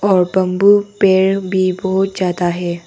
और बम्बू पेड़ भी बहुत ज्यादा है।